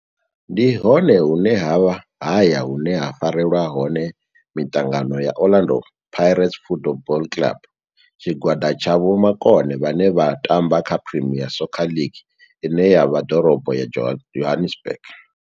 Ndi hone hune havha haya hune ha farelwa hone mitangano ya Orlando Pirates Football Club. Tshigwada tsha vhomakone vhane vha tamba kha Premier Soccer League ine ya vha Dorobo ya Johannesburg.